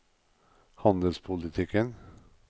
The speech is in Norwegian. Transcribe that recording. handelspolitikken